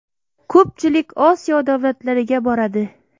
Ko‘pchilik Osiyo davlatlariga boradi.